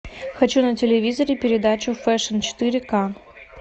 хочу на телевизоре передачу фэшн четыре ка